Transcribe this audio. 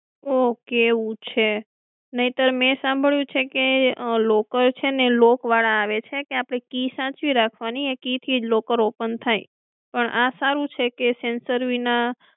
okay એવું છે નહીંતર મે સાંભળ્યું છે કે locker છે ને lock વાળા આવે છે કે આપડે કી સાચવી રાખવાની એ કી થી જ locker open થાય પણ આ સારું છે કે sensor વિના